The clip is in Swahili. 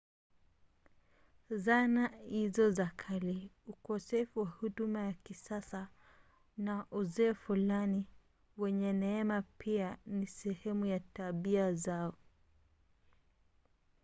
zana hizo za kale ukosefu wa huduma za kisasa na uzee fulani wenye neema pia ni sehemu ya tabia zao